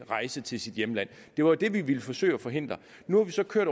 rejse til sit hjemland det var det vi ville forsøge at forhindre nu har vi så kørt